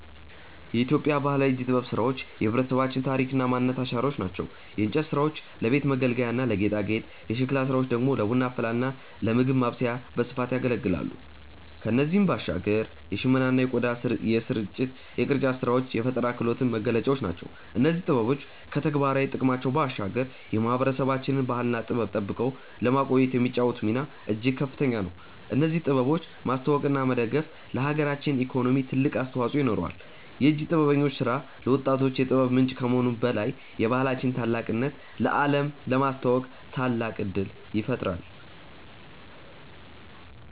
የኢትዮጵያ ባህላዊ የእጅ ጥበብ ስራዎች የህብረተሰባችን ታሪክና ማንነት አሻራዎች ናቸው። የእንጨት ስራዎች ለቤት መገልገያና ለጌጣጌጥ፣ የሸክላ ስራዎች ደግሞ ለቡና አፈላልና ለምግብ ማብሰያነት በስፋት ያገለግላሉ። ከእነዚህም ባሻገር የሽመና የቆዳና የቅርጫት ስራዎች የፈጠራ ክህሎታችን መገለጫዎች ናቸው። እነዚህ ጥበቦች ከተግባራዊ ጥቅማቸው ባሻገር የማህበረሰባችንን ባህልና ጥበብ ጠብቀው ለማቆየት የሚጫወቱት ሚና እጅግ ከፍተኛ ነው። እነዚህን ጥበቦች ማስተዋወቅና መደገፍ ለሀገራችን ኢኮኖሚ ትልቅ አስተዋጽኦ ይኖረዋል። የእጅ ጥበበኞች ስራ ለወጣቶች የጥበብ ምንጭ ከመሆኑም በላይ የባህላችንን ታላቅነት ለአለም ለማስተዋወቅ ታላቅ እድል ይፈጥራል።